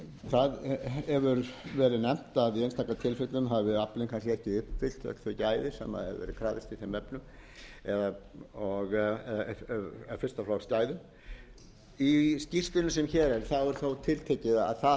það hefur verið nefnt að í einstaka tilfellum hafi aflinn kannski ekki uppfyllt öll þau gæði sem hefur verið krafist í þeim efnum fyrsta flokks gæðum í skýrslunni sem hér er er þó tiltekið að það